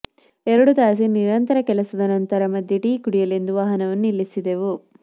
ಎರಡು ತಾಸಿನ ನಿರಂತರ ಕೆಲಸದ ನಂತರ ಮಧ್ಯೆ ಟೀ ಕುಡಿಯಲೆಂದು ವಾಹನವನ್ನು ನಿಲ್ಲಿಸಿದ್ದೇವು